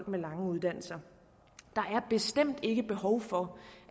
med lange uddannelser der er bestemt ikke behov for